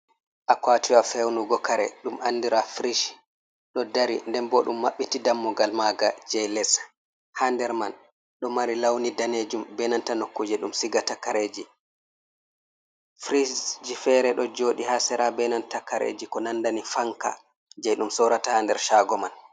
Akwatiwa fewnugo kare ɗum andiraa frish. Ɗo dari, nden bo ɗum maɓɓiti dammugal manga jei les. Ha nder man, ɗo mari launi daneejum, be nanta nokkuuje ɗum sigata kareeji. Frish ji fere ɗo jooɗi ha sera be nanta kareji ko nandani fanka. Jei ɗum sorata ha nder shaago man.